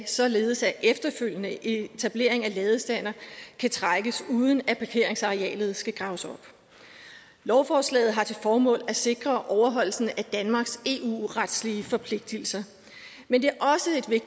således at efterfølgende etablering af ladestandere kan trækkes uden at parkeringsarealet skal graves op lovforslaget har til formål at sikre overholdelsen af danmarks eu retlige forpligtelser men